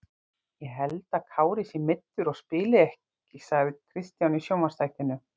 Ég held að Kári sé meiddur og spili ekki sagði Kristján í sjónvarpsþættinum.